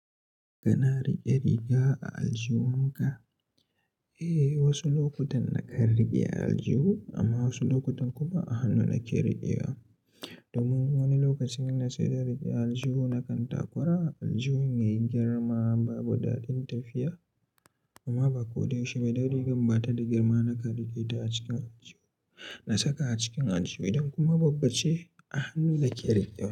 Kana riƙe riga a aljihunka? Eh, wasu lokutan na kan riƙe aljihu amma wasu lokutan kuma a hannu nake riƙewa. Domin wani lokacin na saida rigar aljihu na kan takura, aljihun yayi girma babu daɗin tafiya. Amma ba kodaya shi ma da rigan ba ta da girma na kan riƙe ta a cikin aljihu. Na saka a cikin aljihu idan kuma babba ce a hannu nake riƙe wa.